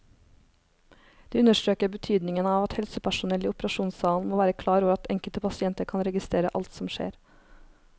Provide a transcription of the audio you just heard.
De understreker betydningen av at helsepersonell i operasjonssalen må være klar over at enkelte pasienter kan registrere alt som skjer.